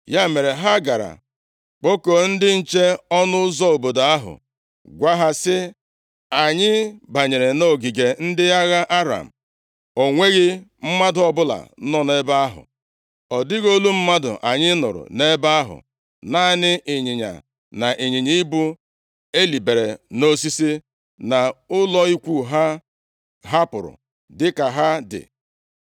Ya mere, ha gara kpọkuo ndị nche ọnụ ụzọ obodo ahụ, gwa ha sị, “Anyị banyere nʼogige ndị agha Aram, o nweghị mmadụ ọbụla nọ nʼebe ahụ, ọ dịghị olu mmadụ anyị nụrụ nʼebe ahụ, naanị ịnyịnya na ịnyịnya ibu elibere nʼosisi, na ụlọ ikwu ha a hapụrụ dịka ha dị.”